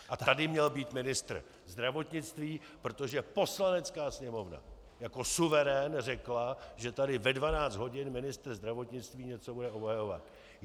A tady měl být ministr zdravotnictví, protože Poslanecká sněmovna jako suverén řekla, že tady ve 12 hodin ministr zdravotnictví něco bude obhajovat.